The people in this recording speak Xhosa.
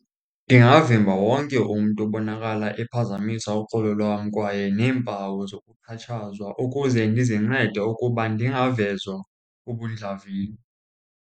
Ndingavimba wonke umntu obonakala ephazamisa uxolo lwam kwaye neempawu zokuxhatshazwa ukuze ndizincede ukuba ndingavezwa ubundlavini.